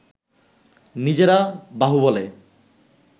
নিজেরা বাহুবলে